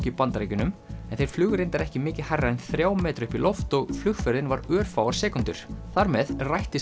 í Bandaríkjunum þeir flugu reyndar ekki mikið hærra en þrjá metra upp í loft og flugferðin var örfáar sekúndur þar með rættist